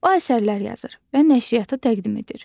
O əsərlər yazır və nəşriyyata təqdim edir.